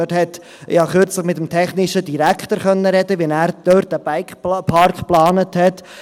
Ich konnte kürzlich mit dem technischen Direktor darüber sprechen, wie er diesen Bikepark geplant hat.